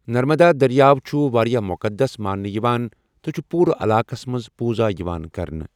نرمدا دٔریاو چھُ واریٛاہ مُقدس ماننہٕ یِوان تہٕ چھُ پوٗرٕ علاقَس منٛز پوٗزا یِوان کرنہِ۔